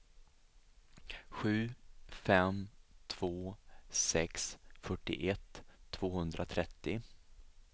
sju fem två sex fyrtioett tvåhundratrettio